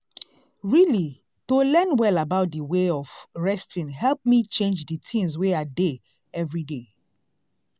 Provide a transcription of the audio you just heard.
really to learn well about d way of resting help me change d things wey i dey everyday.